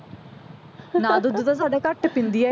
ਨਾ ਦੁੱਧ ਤਾਂ ਸਾਡਾ ਘੱਟ ਪੀਂਦੀ ਆ ਇਹ